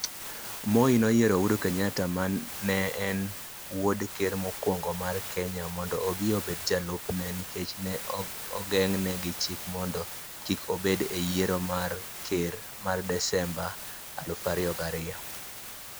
Moi noyiero Uhuru Kenyatta, ma ne en wuod Ker mokwongo mar Kenya, mondo ema obi obed jalupne nikech ne ogeng'ne gi chik mondo kik odhi e yiero mar ker ma Desemba 2002.